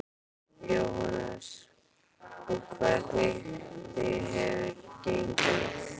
Jóhannes: Og hvernig hefur gengið?